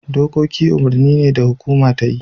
Dokoki umurni ne da hukuma ta yi.